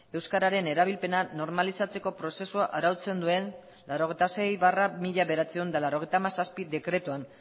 euskararen erabilpena normalizatzeko prozesua arautzen duen laurogeita sei barra mila bederatziehun eta laurogeita hamazazpi dekretuan